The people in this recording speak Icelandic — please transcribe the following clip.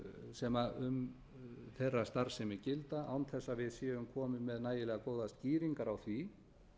sem um þeirra starfsemi gilda án þess að við séum komin með nægilega góðar skýringar á því